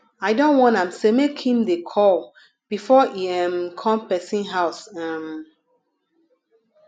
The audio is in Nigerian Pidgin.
i don warn am sey make im dey call before e um come pesin house um